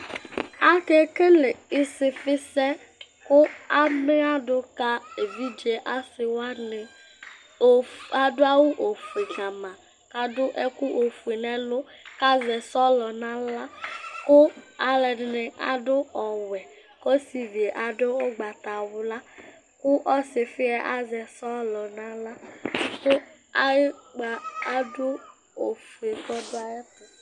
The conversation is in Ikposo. Akekele ɩsɩfɩsɛ kʋ amɩadʋ ka evidze asɩ wanɩ Ofue, adʋ awʋ ofue ka ma kʋ adʋ ɛkʋ ofue nʋ ɛlʋ kʋ azɛ sɔlɔ nʋ aɣla kʋ alʋɛdɩnɩ adʋ ɔwɛ Ɔsɩvi yɛ adʋ ʋgbatawla kʋ ɔsɩfɩ yɛ azɛ sɔlɔ nʋ aɣla kʋ ayʋ ʋkpa adʋ ofue kʋ ɔdʋ ayɛtʋ